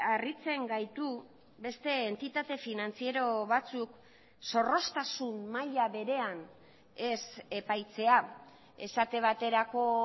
harritzen gaitu beste entitate finantziero batzuk zorroztasun maila berean ez epaitzea esate baterako